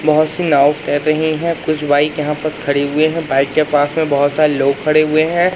बहोत सी नाव तैर रही हैं कुछ बाइक यहां पर खड़े हुए हैं बाइक के पास बहोत सारे लोग खड़े हुए हैं।